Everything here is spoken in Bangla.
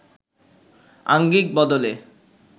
আঙ্গিক বদলে